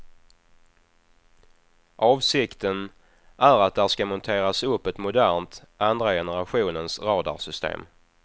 Avsikten är att där ska monteras upp ett modernt, andra generationens radarsystem.